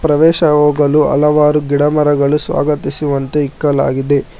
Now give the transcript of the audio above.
ಪ್ರವೇಶ ಹೋಗಲು ಹಲವಾರು ಗಿಡಮರಗಳು ಸ್ವಾಗತಿಸುವಂತೆ ಇಕ್ಕಲಾಗಿದೆ.